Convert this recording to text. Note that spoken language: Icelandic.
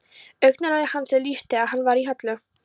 Augnaráði hans er lýst þegar hann var í höllu